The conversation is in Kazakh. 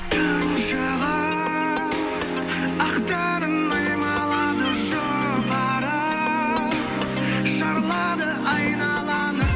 түн шыға ақ таңын аймалады жұпары шарлады айналаны